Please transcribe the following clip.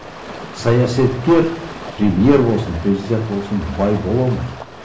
саясаткер премьер болсын президент болсын бай бола алмайды